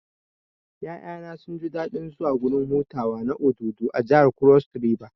Ƴaƴana sunji daɗin zuwa gurin hutawa na Obudu a jihar Cross river